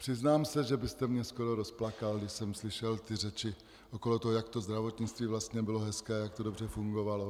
Přiznám se, že byste mě skoro rozplakal, když jsem slyšel ty řeči, okolo toho, jak to zdravotnictví vlastně bylo hezké, jak to dobře fungovalo.